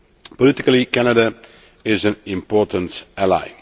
Politically, Canada is an important ally.